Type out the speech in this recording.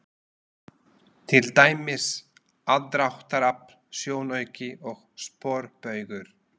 Til dæmis: aðdráttarafl, sjónauki og sporbaugur.